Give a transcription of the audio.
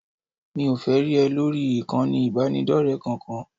Mi ò fẹ́ rí ẹ lórí ìkànnì ìbánidọ́rẹ̀ẹ́ kankan